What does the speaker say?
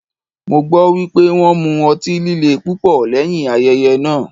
Mo gbọ́ wípé wón mu ọtí líle púpọ̀ lẹ́yìn ayẹyẹ náà.